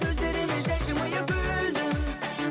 сөздеріме жай жымиып күлдің